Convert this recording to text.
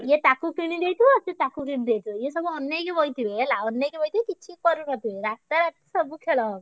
ଏ ତାକୁ କିଣିଦେଇଥିବ ସିଏ ତାକୁ କିଣିଦେଇଥିବ ଏ ସବୁ ଅନେଇକି ବଇଥିବେ ହେଲା ଅନେଇକି ବଇଥିବେ କିଛି କରିନଥିବେ ରାତାରାତି ସବୁ ଖେଳ।